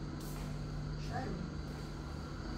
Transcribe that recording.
шары